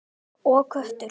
Og kökur.